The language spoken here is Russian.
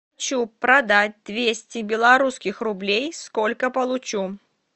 хочу продать двести белорусских рублей сколько получу